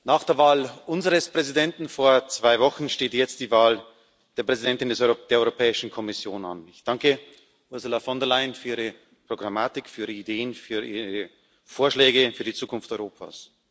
Nach der Wahl unseres Präsidenten vor zwei Wochen steht jetzt die Wahl der Präsidentin der Europäischen Kommission an. Ich danke Ursula von der Leyen für ihre Programmatik, für ihre Ideen, für ihre Vorschläge für die Zukunft Europas.